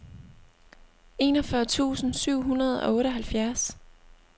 enogfyrre tusind syv hundrede og otteoghalvfjerds